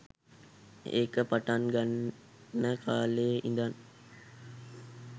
ඒක පටන් ගන්න කාලේ ඉඳන්